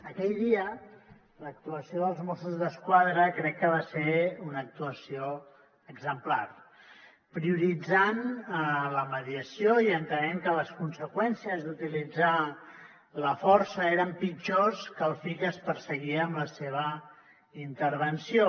aquell dia l’actuació dels mossos d’esquadra crec que va ser una actuació exemplar prioritzant la mediació i entenem que les conseqüències d’utilitzar la força eren pitjors que el fi que es perseguia amb la seva intervenció